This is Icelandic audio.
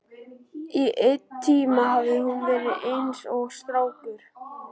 Í einn tíma hafði hún verið eins og strákur.